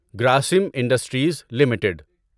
Grasim industries limited